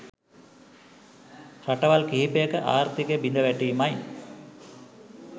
රටවල් කිහිපයක ආර්ථිකය බිඳ වැටීමයි.